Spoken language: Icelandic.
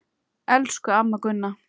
Elsku amma Gunna.